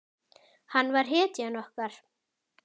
Hann var hetjan okkar.